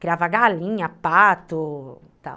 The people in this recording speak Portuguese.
criava galinha, pato, tal.